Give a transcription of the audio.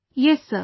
Yes sir